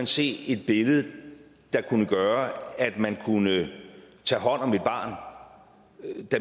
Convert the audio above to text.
se et billede der kunne gøre at man kunne tage hånd om et barn der